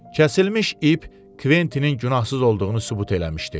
Kəsilmiş ip Kventinin günahsız olduğunu sübut eləmişdi.